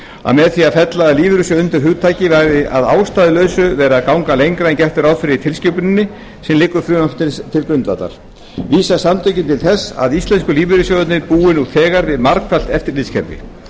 að með því að fella lífeyrissjóði undir hugtakið væri að ástæðulausu verið að ganga lengra en gert er ráð fyrir í tilskipuninni sem liggur frumvarpinu til grundvallar vísa samtökin til þess að íslensku lífeyrissjóðirnir búi nú þegar við margfalt eftirlitskerfi